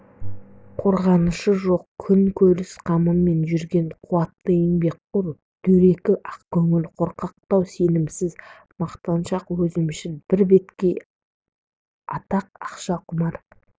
қорғанышы жоқ күн көріс қамымен жүрген қуатты еңбекқор дөрекі ақкөңіл қорқақтау сенімсіз мақтаншақ өзімшіл бірбеткей атақ ақша құмар